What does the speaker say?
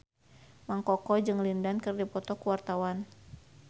Mang Koko jeung Lin Dan keur dipoto ku wartawan